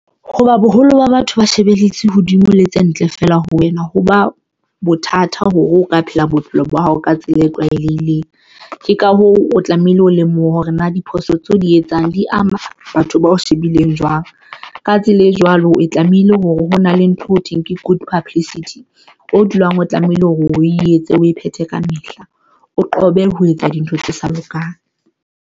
Ho ba boholo ba batho ba shebeletse hodimo le tse ntle feela ho wena hoba bothata hore o ka phela bophelo ba hao ka tsela e tlwaelehileng. Ke ka hoo o tlamehile o lemoha hore na diphoso tseo di etsang di ama batho bao shebileng jwang. Ka tsela e jwalo, o tlamehile hore ho na le ntho thweng ke good publicity o dulang, o tlamehile hore o etse o phethe kamehla, o qobe ho etsa dintho tse sa lokang.